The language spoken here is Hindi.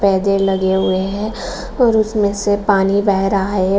पेय जल लगे हुए हैं और उसमें से पानी बह रहा है।